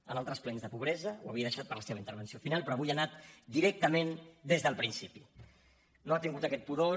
en altres plens de pobresa ho havia deixat per a la seva intervenció final però avui hi ha anat directament des del principi no ha tingut aquest pudor